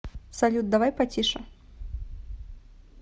салют давай потише